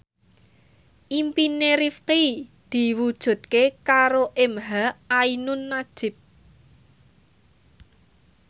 impine Rifqi diwujudke karo emha ainun nadjib